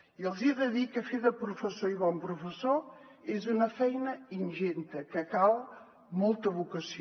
i els hi he de dir que fer de professor i bon professor és una feina ingent que cal molta vocació